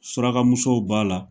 Surakamusow b'a la